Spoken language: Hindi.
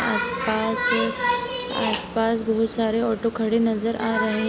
आस-पास आस-पास बहुत सारे ऑटो खड़े नजर आ रहे --